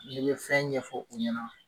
Ne ye fɛn ɲɛfɔ u ɲɛ na